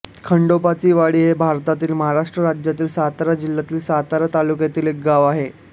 खंडोबाचीवाडी हे भारतातील महाराष्ट्र राज्यातील सातारा जिल्ह्यातील सातारा तालुक्यातील एक गाव आहे